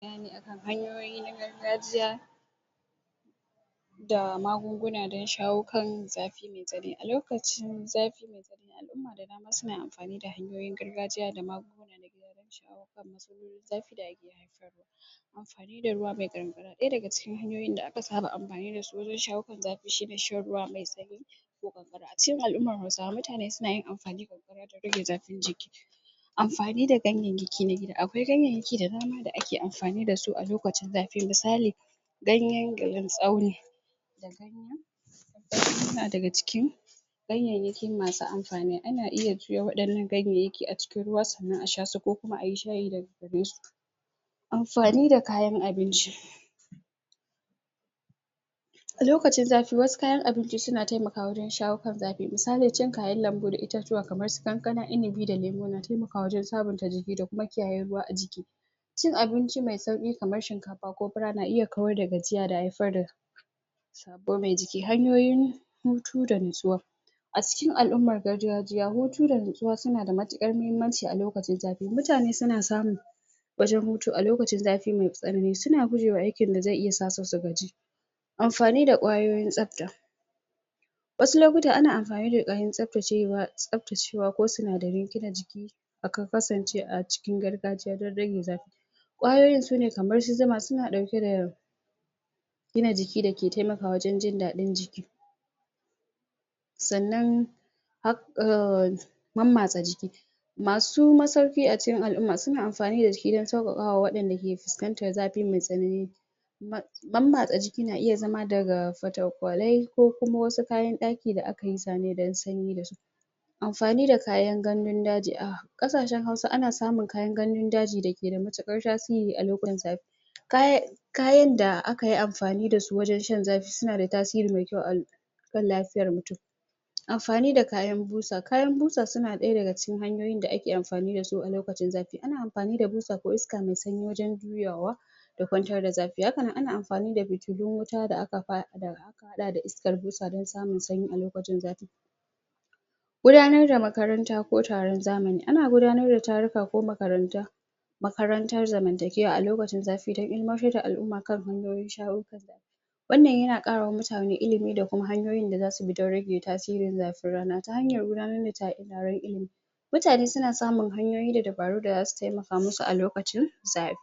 A gaskiya, idan dai har mun kula da gidan mu, abubuwa da dama suna tasowa, ka yi farin ciki, iyalan dake gidan kasa su farin ciki, idan mace ce, mijin ta ya kula da ita, ya kula da gidan ta, ya kula da cin ta, ya kula da shan ta, idan suna da yara ya kula su, ya kula da makarantan su, suturta su, abincin su, lafiyar su, ilimin su. To, gaskiya zaka ga ana yawan girmama shi, zaka ga tana yawan girmama shi, tana bashi cikeken kulawa sosai da sosai, kuma tana tunani cewa wannan fa shine duniyar ta. Sannan haka shima namiji, in dai har na miji ya kula da gidan shi yanda ya kamata, to gaskiya zai yi wiya ka ga ya fuskanci wani kalu balle, wai irin babba haka da zai taso mai, sai dai in abun da baza a rasa ba tunda Hausawa sunce, zo mu zauna zo mu saɓa, kuma tsakanin harshe da haƙori ma, akan saɓawa Amma in dai har mutum ya kula da gidan sa, to gaskiya zai ke ita matukar farin ciki, zai ji yana annashuwa, zai ji shi kawai as kamar sarki, haka zai ke jin sa, kamar sarki, wani shugaba, wata kalan, irin ya zan ce, wata kalan izza, kamar mai izza, kamar irin yanayi dai, shauƙi haka na irin kamar jin kai, amma ba jin kai na girman kai ba, jin kai na irin ai ka kai wani, kana kula da gida kuma ana girmama ka ana martaba ka, tokuma wani mulkin da yake a gidan shima wani sarkin baya yi in dai kar mutum ya kula da gida ya san kan sa, ya san waye shi, yana kyautata wa iyalin sa, to gaskiya bashi da wani tunani sai na farin ciki sai kara ma tunanin ya za'ayi ya kara kyautatawa ya kara kula, yanzu mai zai kara yi wanda zai kara sa iyalan sa cikin jin dadi cikin annashuwa wanda zai kara mai martaba, da kima da daraja da girma, a idanun iyalan sa gaba daya.